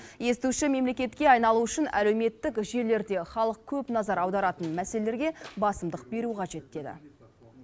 естуші мемлекетке айналу үшін әлеуметтік желілерде халық көп назар аударатын мәселелерге басымдық беру қажет деді